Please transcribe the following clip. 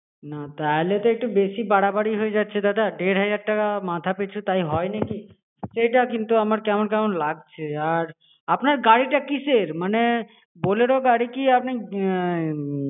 না তাহলে তো একটু বেশি বাড়াবাড়ি হয়ে যাচ্ছে দাদা দেড় হাজার টাকা মাথা পিছু তাই হয় নাকি? এটা কিন্তু আমার কেমন কেমন লাগছে আর আপনার গাড়িটা কিসের মানে bolero গাড়ি কি আপনি